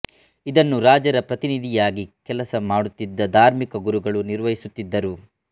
ಇದನ್ನು ರಾಜರ ಪ್ರತಿನಿಧಿಯಾಗಿ ಕೆಲಸ ಮಾಡುತ್ತಿದ್ದ ಧಾರ್ಮಿಕ ಗುರುಗಳು ನಿರ್ವಹಿಸುತ್ತಿದ್ದರು